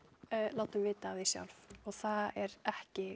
látum vita sjálf og það er ekki